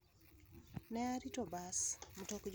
Ne arito bas (mtok jowuoth) modo otera e kar juonjruok kuma ne asomoe